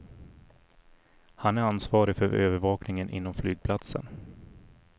Han är ansvarig för övervakningen inom flygplatsen.